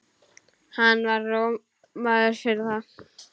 Hann var rómaður fyrir það.